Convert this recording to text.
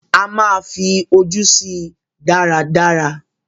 A máa fí ojú sí i dáradára